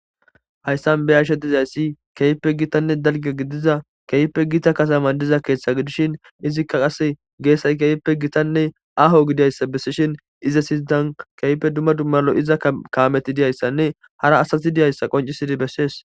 Hayssan be'ashe dizayssi kehipe gittane daliga gidiza kehipe gita katama diza keththa gidishin izika qasse gessay kehipe gittane aho gidizaysa besishin iza sinttan kehipe duma duma lo'iza kameti diyayisane hara asati diyayisa qoncisidi besesi.